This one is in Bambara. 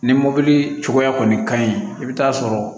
Ni mɔbili cogoya kɔni ka ɲi i bɛ taa sɔrɔ